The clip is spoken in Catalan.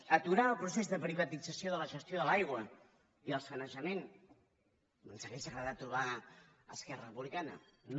aturar el procés de privatització de la gestió de l’aigua i del sanejament ens hauria agradat trobar hi esquerra republicana no